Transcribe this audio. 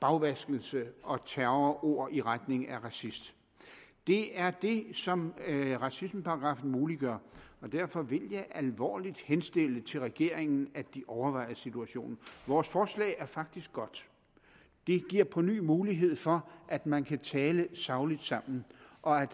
bagvaskelse og terrorord i retning af racist det er det som racismeparagraffen muliggør og derfor vil jeg alvorligt henstille til regeringen at de overvejer situationen vores forslag er faktisk godt det giver på ny mulighed for at man kan tale sagligt sammen og at